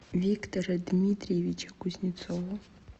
виктора дмитриевича кузнецова